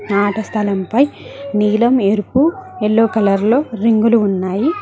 ఆట స్థలంపై నీలం ఎరుపు ఎల్లో కలర్ లో రింగులు ఉన్నాయి.